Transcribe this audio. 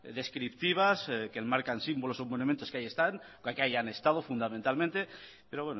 descriptivas que enmarcan símbolos o monumentos que ahí están ya que ahí han estado fundamentalmente pero